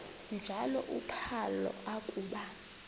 njalo uphalo akuba